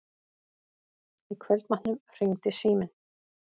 Í kvöldmatnum hringdi síminn.